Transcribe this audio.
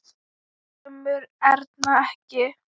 Kemur Erna ekki!